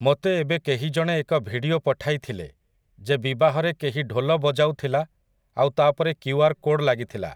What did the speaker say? ମୋତେ ଏବେ କେହି ଜଣେ ଏକ ଭିଡିଓ ପଠାଇଥିଲେ ଯେ ବିବାହରେ କେହି ଢୋଲ ବଜାଉ ଥିଲା ଆଉ ତା ପରେ କ୍ୟୁଆର୍ କୋଡ୍ ଲାଗିଥିଲା ।